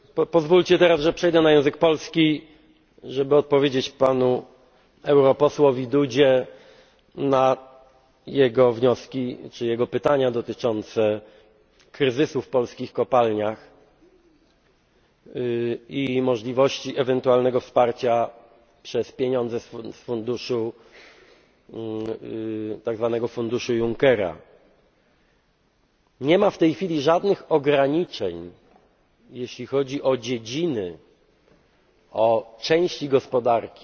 a few seconds ago. Pozwólcie teraz, że przejdę na język polski, żeby odpowiedzieć panu europosłowi Dudzie na jego wnioski czy jego pytania dotyczące kryzysu w polskich kopalniach i możliwości ewentualnego wsparcia przez pieniądze z tzw. funduszu Junckera. Nie ma w tej chwili żadnych ograniczeń, jeśli chodzi o dziedziny,